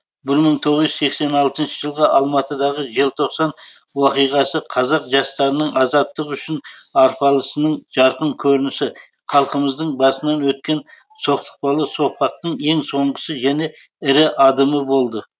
бір мың тоғыз жүз сексен алтыншы жылғы алматыдағы желтоқсан оқиғасы қазақ жастарының азаттық үшін арпалысының жарқын көрінісі халқымыздың басынан өткен соқтықпалы соқпақтың ең соңғы және ірі адымы болды